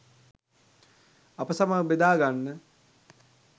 අප සමග බෙදාගන්න